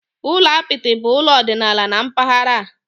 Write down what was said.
Ụlọ apịtị bụ ụlọ ọdịnala na mpaghara a.